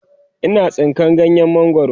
Ina tsinka ganyen mangwaro